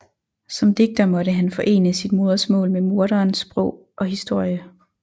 Som digter måtte han forene sit modersmål med mordernes sprog og historie